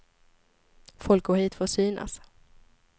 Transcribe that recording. Folk går hit för att synas.